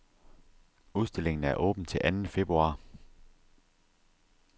Udstillingen er åben til anden februar.